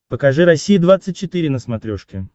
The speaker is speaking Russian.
покажи россия двадцать четыре на смотрешке